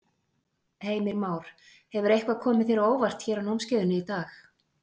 Heimir Már: Hefur eitthvað komið þér á óvart hér á námskeiðinu í dag?